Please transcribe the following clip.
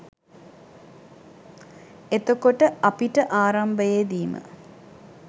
එතකොට අපිට ආරම්භයේදී ම